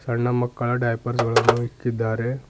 ಸಣ್ಣ ಮಕ್ಕಳ ಡೈಪರ್ಸ್ ಗಳನ್ನು ಇಕ್ಕಿದ್ದಾರೆ.